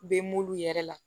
Bɛ m'olu yɛrɛ la